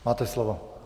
Máte slovo.